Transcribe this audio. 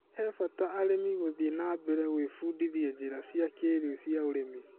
He bata arĩmi gũthiĩ na mbere gwĩbundithia njĩra cia kĩrĩu cia ũrĩmi.